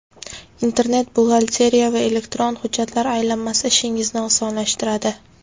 Internet-buxgalteriya va elektron hujjatlar aylanmasi ishingizni osonlashtiradi.